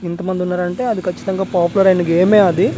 ఇంతమందున్నారంటే అది కచ్చితంగా పాపులర్ ఐన గేమే అది.